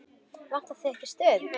Vantar þig ekki stuð?